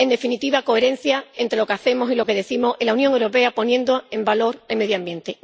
En definitiva, coherencia entre lo que hacemos y lo que decimos en la Unión Europea, poniendo en valor el medio ambiente.